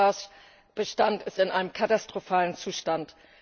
Der Wolfsbarschbestand ist in einem katastrophalen Zustand.